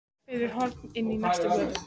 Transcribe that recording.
Hvarf fyrir horn inn í næstu götu.